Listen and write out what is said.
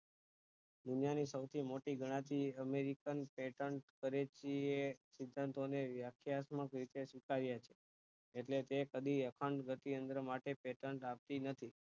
દુનિયા ની સૌથી મોટી ગણાતી અમેરિકન patent કરેચી એ સિદ્ધાંતો ને વ્યાખ્યાત્મક રીતે સ્વીકારય છે ઍટલે તે કદી અખંડ ગતિ યંત્ર માટે paten રાખતી નથી